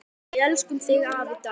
Við elskum þig, afi Dalli.